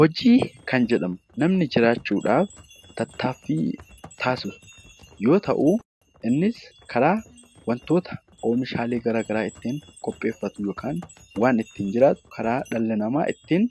Hojii kan jedhamu namni jiraachuudhaaf tattaaffii taasisu yoo ta'u, innis karaa wantoota oomishaalee garaa garaa ittiin qopheeffatu yookaan waan ittiin jiraatu karaa dhalli namaa ittiin